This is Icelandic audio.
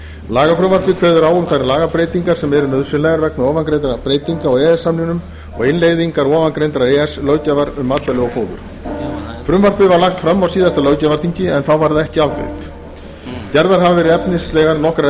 lagafrumvarpið kveður á um þær lagabreytingar sem eru nauðsynlegar vegna ofangreindra breytinga á e e s samningnum og innleiðingar ofangreindrar e e s löggjafar um matvæli og fóður frumvarpið var lagt fram á síðasta löggjafarþingi en þá var það ekki afgreitt gerðar hafa verið nokkrar